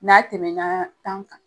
N'a tɛmɛnaa tan kan